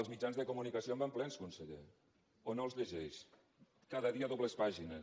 els mitjans de comunicació en van plens conseller o no els llegeix cada dia dobles pàgines